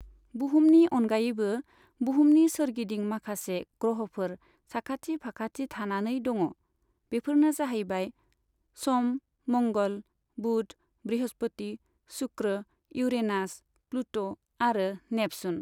बुहुमनि अनगायैबो बुहुमनि सोरगिदिं माखासे ग्रह'फोर साखाथि फाखाथि थानानै दङ। बेफोरनो जाहैबाय सम, मंगल, बुध, बृहस्पति, शुक्र, इउरेनास, प्लुट' आरो नेपसुन।